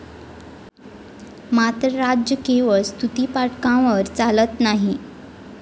मात्र राज्य केवळ स्तुतीपाठकांवर चालत नाही.